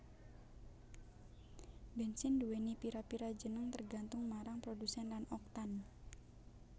Bènsin nduwèni pira pira jeneng tergantung marang produsèn lan Oktan